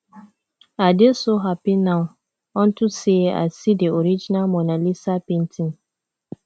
i dey so happy now unto say i see the original mona lisa painting